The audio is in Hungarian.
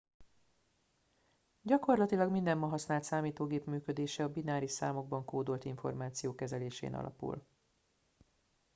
gyakorlatilag minden ma használt számítógép működése a bináris számokban kódolt információ kezelésén alapul